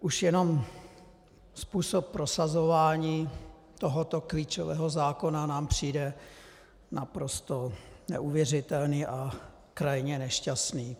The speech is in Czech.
Už jenom způsob prosazování tohoto klíčového zákona nám přijde naprosto neuvěřitelný a krajně nešťastný.